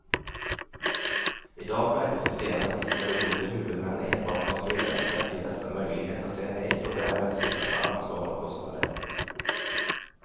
I dag verkar systemet med olika huvudmän enbart konstruerat för att ge dessa möjlighet att säga nej och därmed slippa ta ansvar och kostnader.